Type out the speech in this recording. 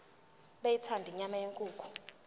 beyithanda inyama yenkukhu